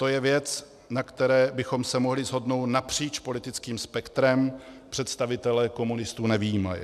To je věc, na které bychom se mohli shodnout napříč politickým spektrem, představitele komunistů nevyjímaje.